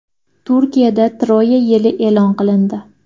Turkiyada Troya yili e’lon qilindi.